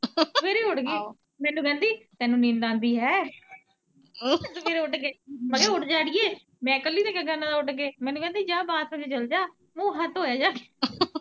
ਮੈਨੂੰ ਕਹਿੰਦੀ ਤੈਨੂੰ ਨੀਂਦ ਆਉਂਦੀ ਹੈ ਸਵੇਰੇ ਉੱਠ ਕੇ, ਮੈਂ ਕਿਹਾ ਓੱਠ ਜਾਂ ਅੜੀਏ, ਮੈਂ ਕੱਲੀ ਨੇ ਕਿਆਂ ਕਰਨਾ ਉੱਠ ਕੇ, ਮੈਨੂੰ ਕਹਿੰਦੀ ਬਾਥਰੂਮ ਚ ਚੱਲਜਾ, ਮੂੰਹ ਹੱਥ ਧੋਇਆ ਜਾ ਕੇ।